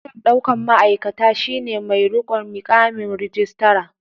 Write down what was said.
Daraktan ɗaukan ma'aikata shi ne mai riƙon miƙamin rijistara.